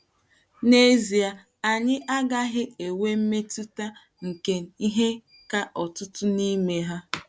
N’ezie, anyị agaghị enwe mmetụta nke ihe ka ọtụtụ n’ime ha.